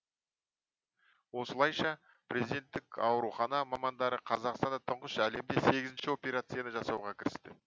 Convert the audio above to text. осылайша президенттік аурухана мамандары қазақстанда тұңғыш әлемде сегізінші операцияны жасауға кірісті